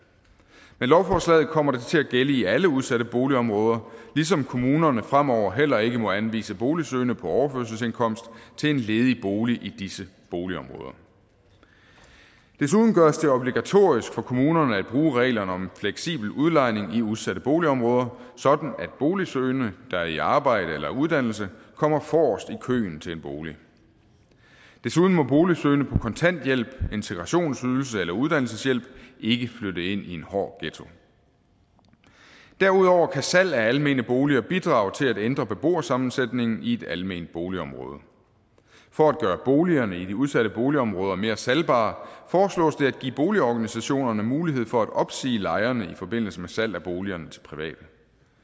med lovforslaget kommer det til at gælde i alle udsatte boligområder ligesom kommunerne fremover heller ikke må anvise boligsøgende på overførselsindkomst til en ledig bolig i disse boligområder desuden gøres det obligatorisk for kommunerne at bruge reglerne om fleksibel udlejning i udsatte boligområder sådan at boligsøgende der er i arbejde eller under uddannelse kommer forrest i køen til en bolig desuden må boligsøgende på kontanthjælp integrationsydelse eller uddannelseshjælp ikke flytte ind i en hård ghetto derudover kan salg af almene boliger bidrage til at ændre beboersammensætningen i et alment boligområde for at gøre boligerne i de udsatte boligområder mere salgbare foreslås det at give boligorganisationerne mulighed for at opsige lejerne i forbindelse med salg af boligerne til private